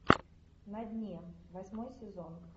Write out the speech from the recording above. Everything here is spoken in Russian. на дне восьмой сезон